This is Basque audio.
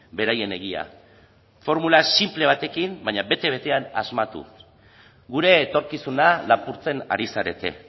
beraien egia formula sinple batekin baina bete betean asmatuz gure etorkizuna lapurtzen ari zarete